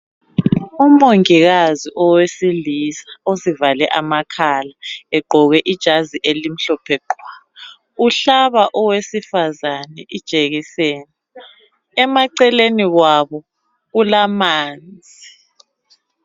Umongikazi owesilisa uzivale amakhala, egqoke ijazi elimhlophe qhwa. Uhlaba owesifazane ijekiseni. Emaceleni kwabo kulamanzi.